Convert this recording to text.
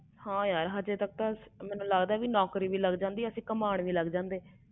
ਹਾਂ ਯਾਰ ਕੋਈ ਨੌਕਰੀ ਮਿਲ ਜਨਦੀ ਤੇ ਲਗ ਜਾਂਦੇ ਕਮ ਤੇ